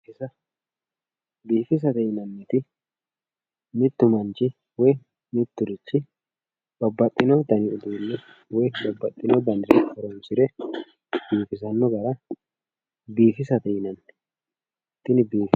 biifisate yinanniti mittu manchi woy mitturichi babbaxino dani uduunne woy Babbaxxino danire horoonsire biifisanno gara biifisate yinanni tini.